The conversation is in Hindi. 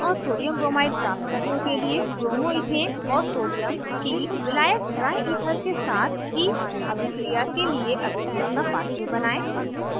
1 butane और sodiumbromide प्राप्त करने के लिए bromoइथेन और sodium की विलायक dryether के साथ की अभिक्रिया के लिए अभिक्रिया का pathway बनायें